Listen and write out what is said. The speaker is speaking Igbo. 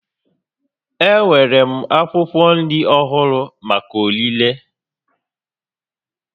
Enwere m akwụkwọ nri ọhụrụ maka ọrịre